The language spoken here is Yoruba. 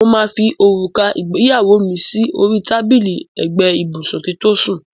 Mo máa fi òrùka ìgbéyàwó mi sí orí tábìlì ẹ̀gbẹ́ ibùsùn kí n tó sùn.